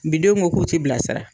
Bidenw ko k'o t'i bilasira